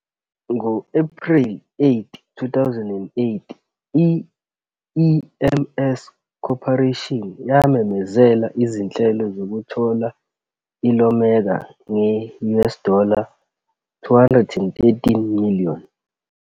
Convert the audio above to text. Ngo-Ephreli 8, 2008, i-EMC Corporation yamemezela izinhlelo zokuthola i-Iomega nge-US dollar 213 million.